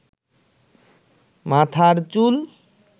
মাথার চুল